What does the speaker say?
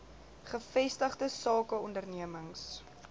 gevestigde sake ondernemings